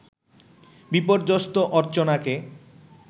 বিপর্যস্ত অর্চনাকে